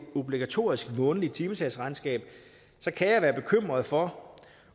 obligatorisk månedligt timesagsregnskab kan jeg være bekymret for